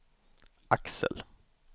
Axel